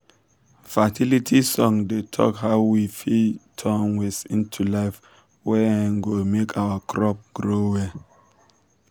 fertility songs dey talk how we um fit turn waste into life wey um go make our crops grow well.